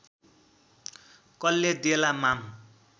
कल्ले देला माम